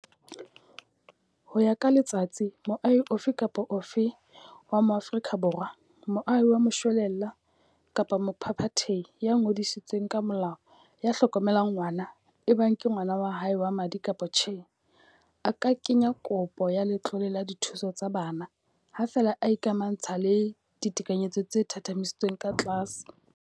Ho ya ka Letsatsi, moahi ofe kapa ofe wa Moafrika Borwa, moahi wa moshwelella kapa mophaphathehi ya ngodisitsweng ka molao ya hlokomelang ngwana, ebang ke ngwana wa hae wa madi kapa tjhe, a ka kenya kopo ya letlole la dithuso tsa bana, ha feela a ikamahantsha le ditekanyetso tse thathamisitsweng ka tlase.